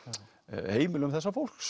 heimilum þessa fólks